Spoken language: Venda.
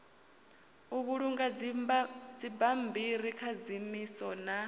u vhulunga dzibammbiri khadzimiso na